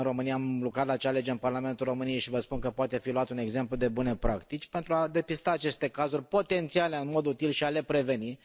În România am lucrat la acea lege în Parlamentul României și vă spun că poate fi luat drept exemplu de bune practici pentru a depista aceste cazuri potențiale, în mod util, și a le preveni.